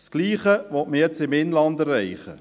Dasselbe will man jetzt im Inland erreichen.